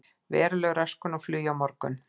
Veruleg röskun á flugi á morgun